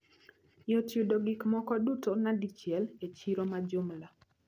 Yot yudo gikmoko duto nadichiel e chiro majumla.